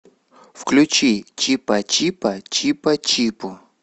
включи чипачипа чипачипу